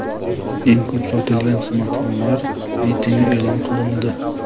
Eng ko‘p sotilgan smartfonlar reytingi e’lon qilindi.